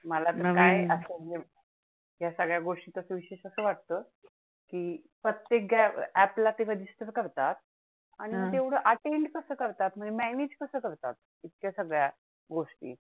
प्रत्येक app ला ते register करतात अं आणि तेवढं ते attend कसं करतात? manage कसं करतात? इतक्या सगळ्या गोष्टी?